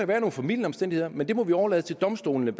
være nogle formildende omstændigheder men der må vi overlade til domstolene